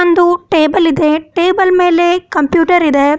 ಒಂದು ಟೇಬಲ್ ಇದೆ ಟೇಬಲ್ ಮೇಲೆ ಕಂಪ್ಯೂಟರ್ ಇದೆ.